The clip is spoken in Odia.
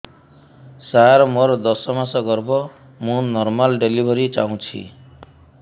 ସାର ମୋର ଦଶ ମାସ ଗର୍ଭ ମୁ ନର୍ମାଲ ଡେଲିଭରୀ ଚାହୁଁଛି